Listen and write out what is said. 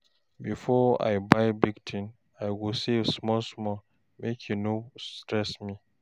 Before I buy big thing, I go save small small make e no stress me.